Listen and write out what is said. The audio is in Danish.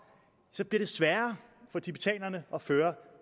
så bliver det sværere for tibetanerne at føre